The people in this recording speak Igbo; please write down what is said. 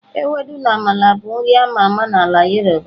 Ewedu na Amala bụ nri a ma ama na ala yoruba.